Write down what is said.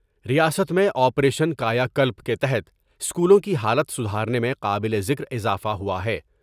ریاست میں operation Kayakalp کے تحت اسکولوں کی حالت سدھارنے میں قابل ذکر اضافہ ہوا ہے۔